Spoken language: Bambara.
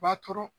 B'a turu